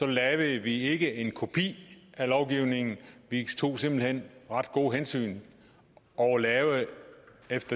lavede vi ikke en kopi af lovgivningen vi tog simpelt hen ret gode hensyn og lavede